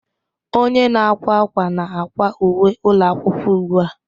Onye na-akwa akwa na-akwa uwe ụlọ akwụkwọ ugbu a